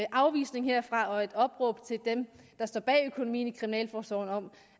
afvisning herfra og et opråb til dem der står bag økonomien for kriminalforsorgen om